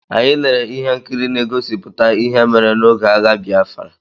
Anyị lere ihe nkiri na-egosipụta ihe mere n'oge agha Bịafra.